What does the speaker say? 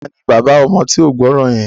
Taani bàbá ọmọ tí ó gbọ́ràn yẹn?